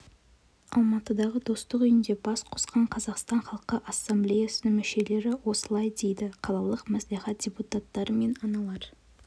алматыдағы достық үйінде бас қосқан қазақстан халқы ассамблеясының мүшелері осылай дейді қалалық мәслихат депутаттары мен аналар